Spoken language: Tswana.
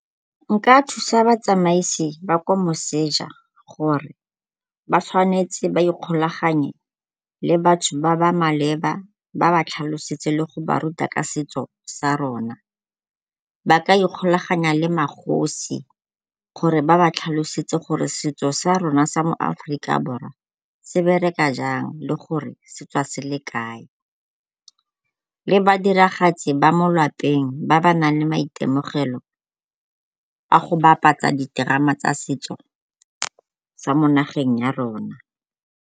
Nka thusa batsamaisi ba kwa moseja gore ba tshwanetse ba ikgolaganye le batho ba ba maleba ba ba tlhalosetse le go ba ruta ka setso sa rona. Ba ka ikgolaganya le magosi gore ba ba tlhalosetse gore setso sa rona sa mo Aforika Borwa se bereka jang le gore se tswa se le kae. Le badiragatsi ba mo lwapeng ba ba nang le maitemogelo a go bapatsa diterama tsa setso tsa mo nageng ya rona.